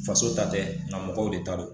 Faso ta tɛ nga mɔgɔw de ta do